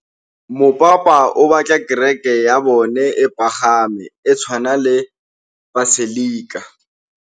Mopapa o batla kereke ya bone e pagame, e tshwane le paselika.